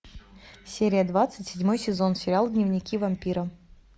серия двадцать седьмой сезон сериал дневники вампира